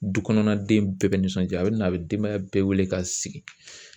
Du kɔnɔna den bɛɛ bɛ nisɔnja a bɛ na a bɛ denbaya bɛɛ wele ka sigi